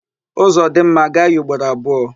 Ụzọ dị mma, a gaa ya ugboro abụọ.